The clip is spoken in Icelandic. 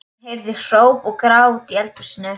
Ef ég fæ ekki að ráða, leik ég ekki